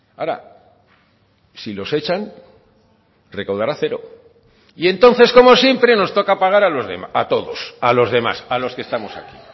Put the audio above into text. ahora si los echan recaudará cero y entonces como siempre nos toca pagar a todos a los demás a los que estamos aquí